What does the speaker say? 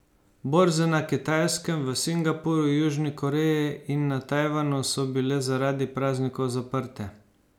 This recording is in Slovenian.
Borze na Kitajskem, v Singapurju, Južni Koreji in na Tajvanu so bile zaradi praznikov zaprte.